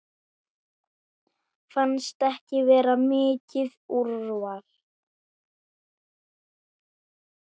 Fannst ekki vera mikið úrval.